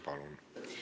Palun!